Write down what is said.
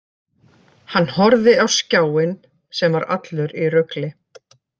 Hann horfði á skjáinn sem var allur í rugli.